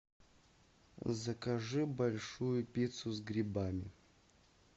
закажи большую пиццу с грибами